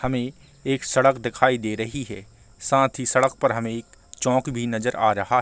हमें एक सड़क दिखाई दे रही है साथ ही सड़क पर हमें एक चौक भी नजर आ रहा --